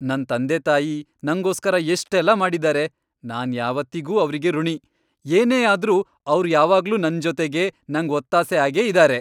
ನನ್ ತಂದೆತಾಯಿ ನಂಗೋಸ್ಕರ ಎಷ್ಟೆಲ್ಲ ಮಾಡಿದಾರೆ.. ನಾನ್ ಯಾವತ್ತಿಗೂ ಅವ್ರಿಗೆ ಋಣಿ. ಏನೇ ಆದ್ರೂ ಅವ್ರ್ ಯಾವಾಗ್ಲೂ ನನ್ ಜೊತೆಗೇ, ನಂಗ್ ಒತ್ತಾಸೆ ಆಗೇ ಇದಾರೆ.